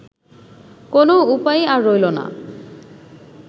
কোনো উপায়ই আর রইল না